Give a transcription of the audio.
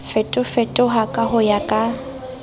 fetofetoha ka ho ya ka